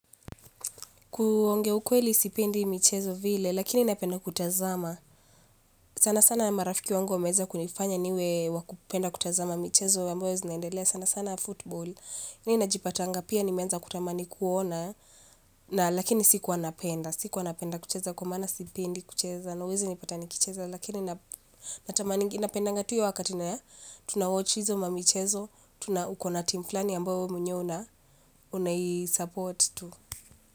Kuongea ukweli sipendi michezo vile lakini napenda kutazama. Sana sana marafiki wangu wameza kunifanya niwe wakupenda kutazama michezo ambayo zinaendelea sana sana football. Ni najipatanga pia ni menza kutamani kuona na lakini siku wa napenda. Siku anapenda kucheza kumana sipendi kucheza na uwezi nipatani kucheza lakini natamani inapendanga tu hiyo wakatina ya tunawochizo mamichezo. Tuna ukona timflani yamboe mwenyewe una unayisupport tu.